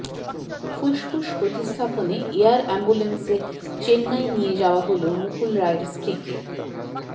ফুসফুস প্রতিস্থাপনে এয়ার অ্যাম্বুলেন্সে চেন্নাই নিয়ে যাওয়া হল মুকুল রায়ের স্ত্রীকে